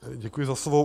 Děkuji za slovo.